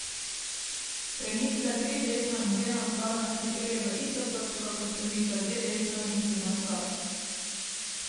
Premik za tri desno in dve navzgor nas pripelje v isto točko kot premik za dve desno in tri navzgor.